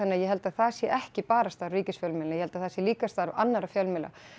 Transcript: ég held að það sé ekki bara starf ríkisfjölmiðlanna ég held að það sé líka starf annarra fjölmiðla